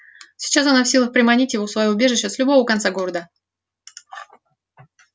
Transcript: сейчас она в силах приманить его в своё убежище с любого конца города